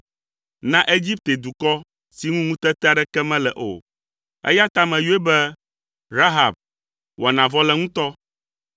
na Egipte dukɔ si ŋu ŋutete aɖeke mele o. Eya ta meyɔe be Rahab, Wɔnavɔleŋutɔ.